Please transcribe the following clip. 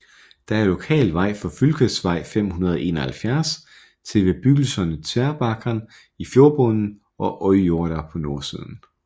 Der er lokal vej fra Fylkesvei 571 til bebyggelserne Tverrbakkan i fjordbunden og Øyjorda på nordsiden